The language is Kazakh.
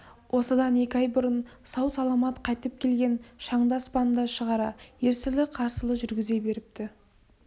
осыдан екі ай бұрын сау-саламат қайтып келген шаңды аспанға шығара ерсілі-қарсылы жүргізе беріпті